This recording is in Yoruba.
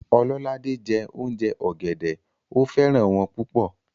Ololade jẹ́ òùnjẹ ọ̀gẹ̀dẹ̀, ó fẹ́ràn wọ́n púpọ̀